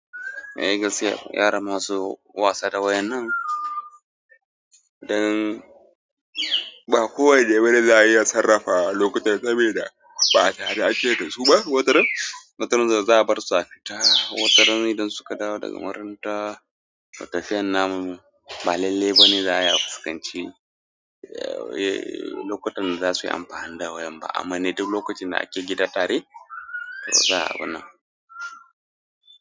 Eh gaskiya, yara masu wasa da wayan nan, dan ba kowa da ibada za a iya sarrafa lokutan saboda ba tare da ake yin su ba. Watarin, watarin da za a bar su a fita, watarin idan suka dawo daga makaranta, tafiyar namun, ba lalle ba ne za a yi a fuskanci. Eh, lokutan da za su yi amfani da wayar ba, amma ne duk lokacin da ake gida tare, to za a bar na.